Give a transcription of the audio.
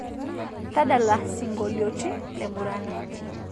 tadala singolioti le murana